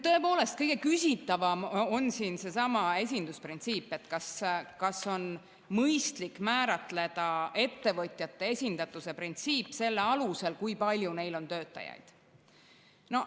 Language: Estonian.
Tõepoolest, kõige küsitavam on siin seesama esindusprintsiip, et kas on mõistlik määratleda ettevõtjate esindatuse printsiipi selle alusel, kui palju neil on töötajaid.